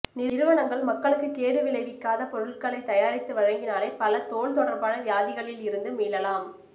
நிறுவனங்கள் மக்களுக்குக் கேடு விளைவிக்காதப் பொருள்களைத் தயாரித்து வழங்கினாலே பல தோல் தொடர்பான வியாதிகளில் இருந்து மீளலாம்